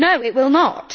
No, it will not.